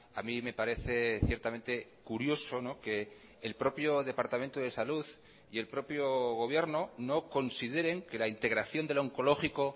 a mí me parece ciertamente curioso que el propio departamento de salud y el propio gobierno no consideren que la integración del oncológico